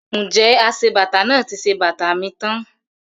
Ǹjẹ́ aṣebàtà náà ti ṣe bàtà mi tán?